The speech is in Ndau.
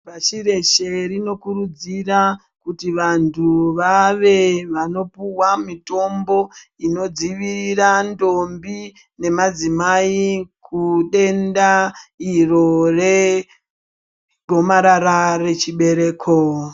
Pashi reshe rinokurudzira kuti vanthu vave vanopuhwa mitombo inodzivirira ndombi nemadzimai kudenda iro regomarara rechibereko.